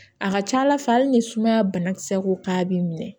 A ka ca ala fɛ hali ni sumaya banakisɛ ko k'a b'i minɛ